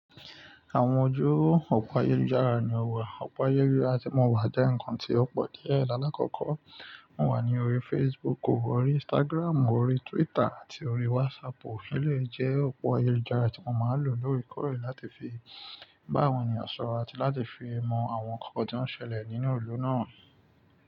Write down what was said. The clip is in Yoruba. Àwọn ojú òpó ayélujára ni o wà. Òpó ayé àti mo wà jẹ́ ǹkan tí ó pọ̀ díẹ̀. Ìdálákọ̀kọ̀ mo wà ní orí Facebook, orí Instagram, orí Twitter àti orí WhatsApp. Ó lè jẹ́ òpó ayélujára tí mo máa lò lórí kọ̀rọ̀ láti fi bá àwọn ènìyàn sọ̀rọ̀ àti láti fi mọ àwọn ǹkan tó ń ṣẹlẹ̀ nínú ìlú náà.